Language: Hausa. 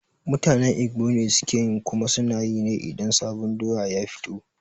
Mutanen Igbo ne sukeyi kuma sunayi ne idan sabon doya ya fito